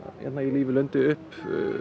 í lífi og lundi upp